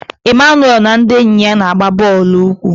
Emmanuel na ndị enyi ya na-agba bọọlụ ụkwụ.